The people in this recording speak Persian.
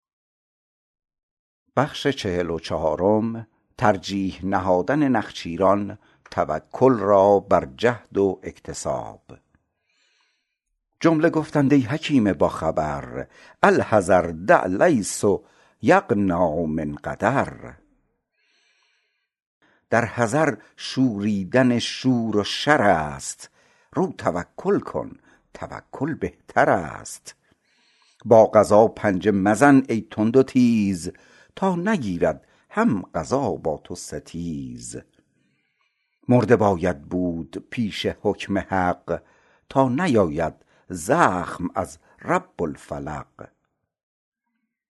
جمله گفتند ای حکیم با خبر الحذر دع لیس یغنی عن قدر در حذر شوریدن شور و شر ست رو توکل کن توکل بهتر ست با قضا پنجه مزن ای تند و تیز تا نگیرد هم قضا با تو ستیز مرده باید بود پیش حکم حق تا نیاید زخم از رب الفلق